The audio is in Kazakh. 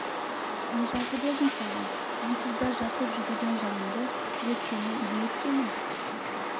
не жазып едім саған онсыз да жасып жүдеген жанымды күйреткенің не еткенің